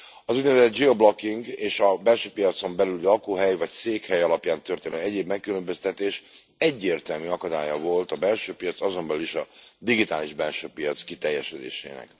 Az úgynevezett geoblocking, és a belső piacon belüli lakóhely vagy székhely alapján történő egyéb megkülönböztetés egyértelmű akadálya volt a belső piac, azon belül is a digitális belső piac kiteljesedésének.